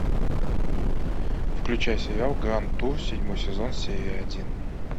включай сериал гранд тур седьмой сезон серия один